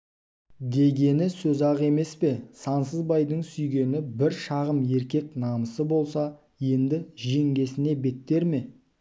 дегені сөз-ақ емес пе сансызбайдың сүйегінде бір шағым еркек намысы болса енді жеңгесіне беттер ме